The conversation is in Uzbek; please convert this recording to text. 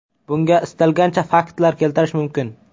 Bunga istalgancha faktlar keltirish mumkin.